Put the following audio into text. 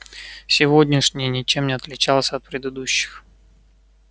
сегодняшний ничем не отличался от предыдущих